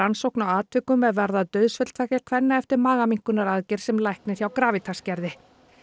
rannsókn á atvikum er varða dauðsföll tveggja kvenna eftir sem læknir hjá Gravitas gerði